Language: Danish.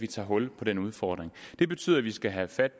tage hul på den udfordring det betyder at vi skal have fat